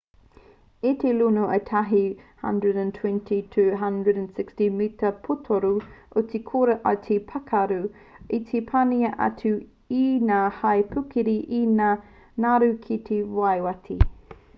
i te luno ētahi 120-160 mita pūtoru o te kora i te wā i pākaru i te wā i panaia atu e ngā hau pūkeri me ngā ngaru ki te waiwhawhati